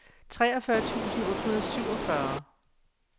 treogfyrre tusind otte hundrede og syvogfyrre